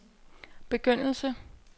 begyndelse